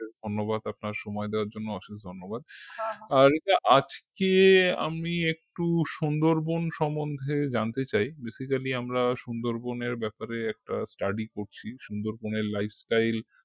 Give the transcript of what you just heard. ধন্যবাদ আপনার সময় দেওয়ার জন্য অশেষ ধন্যবাদ। রিতা আজকে আমি একটু সুন্দরবন সম্মন্ধে জানতে চাই basically আমরা সুন্দরবন ব্যাপারে একটা study করছি সুন্দরবনের lifestyle